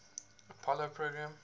apollo program